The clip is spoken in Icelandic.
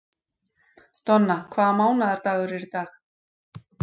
Donna, hvaða mánaðardagur er í dag?